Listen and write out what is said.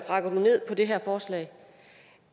rakker du ned på det her forslag